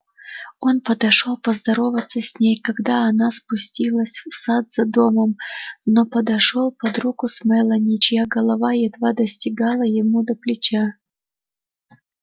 он подошёл поздороваться с ней когда она спустилась в сад за домом но подошёл под руку с мелани чья голова едва достигала ему до плеча